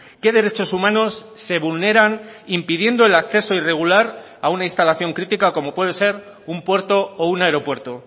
qué derechos humanos se vulneran impidiendo el acceso irregular a una instalación crítica como puede ser un puerto o un aeropuerto